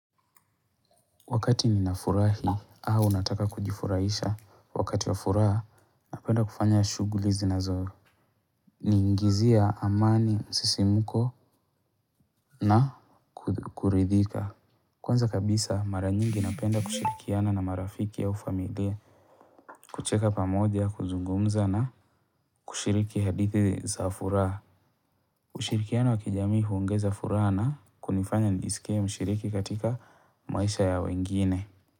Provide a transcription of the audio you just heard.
Wakati ninafurahi, au nataka kujifuraisha wakati wa furaha napenda kufanya shughuli zinazo ni ingizia amani, msisimko. Na, kuridhika. Kwanza kabisa, mara nyingi napenda kushirikiana na marafiki au familia. Kucheka pamoja, kuzungumza na, kushiriki hadithi za furaha. Ushirikiano wa kijami huongeza furaha na, kunifanya nisikie mshiriki katika, maisha ya wengine.